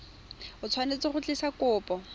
o tshwanetse go tlisa kopo